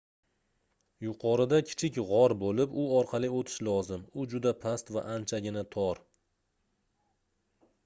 yuqorida kichik gʻor boʻlib u orqali oʻtish lozim u juda past va anchagina tor